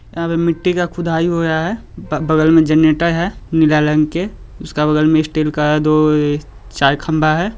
यहां पे मिटटी का खुदाई हो रहा हैं बगल में जनरेटर हैं नीला रंग के उसका बगल में स्टील का दो चार खंभा है।